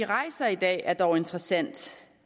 rejser i dag er dog interessant